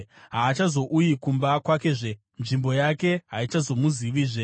Haachazouyi kumba kwakezve; nzvimbo yake haichazomuzivizve.